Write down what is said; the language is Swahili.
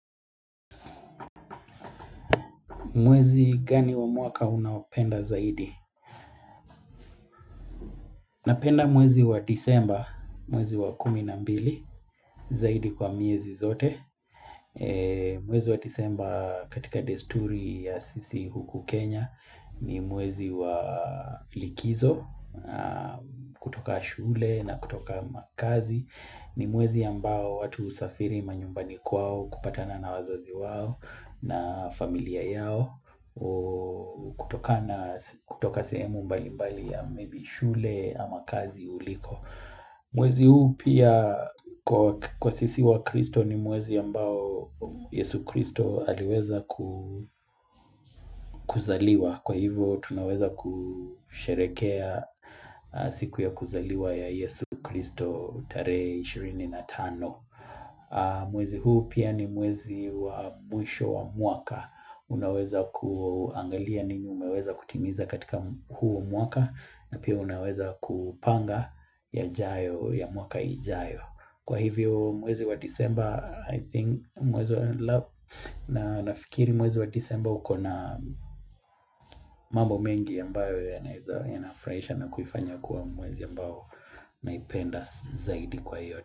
Mwezi gani wa mwaka unaopenda zaidi? Napenda mwezi wa disemba, mwezi wa kumi na mbili, zaidi kwa miezi zote. Mwezi wa disemba katika desturi ya sisi huku Kenya ni mwezi wa likizo, na kutoka shule na kutoka kazi. Ni mwezi ambao watu husafiri manyumbani kwao kupatana na wazazi wao na familia yao kutoka na kutoka sehemu mbali mbali ya maybe shule ama kazi uliko Mwezi huu pia kwa sisi wa kristo ni mwezi ambao yesu kristo aliweza kuzaliwa Kwa hivyo tunaweza kusherekea siku ya kuzaliwa ya yesu kristo tarehe ishirini na tano. Mwezi huu pia ni mwezi wa mwisho wa mwaka. Unaweza kuangalia nini umeweza kutimiza katika huu mwaka na pia unaweza kupanga yajayo ya mwaka ijayo. Kwa hivyo mwezi wa disemba I think mwezi wa lab na nafikiri mwezi wa disemba ukona mambo mengi ambayo yanaeza yanafurahisha na kufanya kuwa mwezi ambayo naipenda zaidi kwa hiyo.